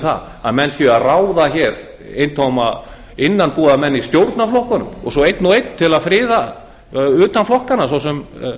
það að menn séu að ráða hér eintóma innanbúðarmenn í stjórnarflokkunum og svo beinan og einn til að friða utan flokkanna svo